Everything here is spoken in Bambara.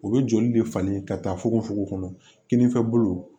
U bɛ joli de falen ka taa fogofogo kɔnɔ kininfɛbolo